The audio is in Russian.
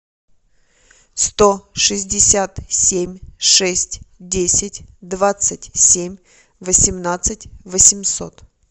сто шестьдесят семь шесть десять двадцать семь восемнадцать восемьсот